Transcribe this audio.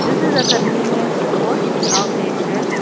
this is a convenience store inauguration.